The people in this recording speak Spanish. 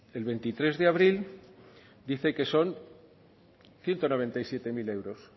el veintitrés de abril dice que son ciento noventa y siete mil euros